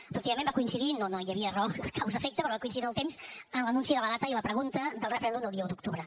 efectivament va coincidir no hi havia raó causa efecte però va coincidir en el temps amb l’anunci de la data i la pregunta del referèndum del dia un d’octubre